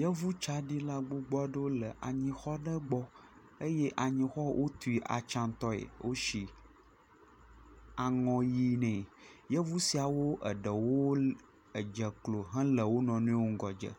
Yevu tsaɖila gbogbo aɖewo le anyixɔ aɖe gbɔ eye anyixɔ wotui atsiatɔe, wotsi aŋɔ ʋe ne. Yevu siawo eɖewo edze klo hele wo nɔ nɔewo ŋgɔdze,